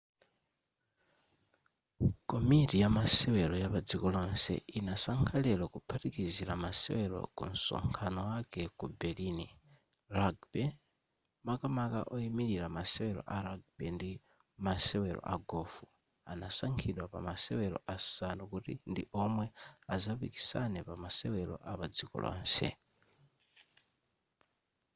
komiti ya masewero yapadziko lonse inasankha lero kuphatikizila masewero kunsonkhano wake ku berlin rugby makamaka oimilira masewero a rugby ndi masewero a gofu anasankhidwa pa masewela asanu kuti ndi omwe azapikisane pa masewelo apadziko lonse